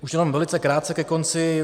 Už jenom velice krátce ke konci.